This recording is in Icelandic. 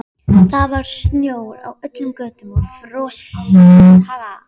Guðmundur Þóroddsson ráðinn fyrsti forstjóri Orkuveitunnar.